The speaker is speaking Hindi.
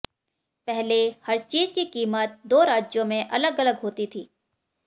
पहले हर चीज़ की किमत दो राज्यों में अलग अलग होती थी